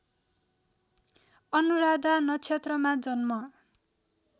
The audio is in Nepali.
अनुराधा नक्षत्रमा जन्म